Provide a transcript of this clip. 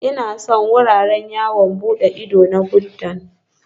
Ina son wuraren yawon bude ido na Buddha